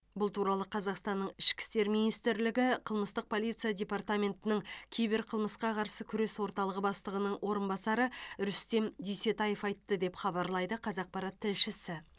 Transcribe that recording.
бұл туралы қазақстанның ішкі істер министрлігі қылмыстық полиция департаментінің киберқылмысқа қарсы күрес орталығы бастығының орынбасары рүстем дүйсетаев айтты деп хабарлайды қазақпарат тілшісі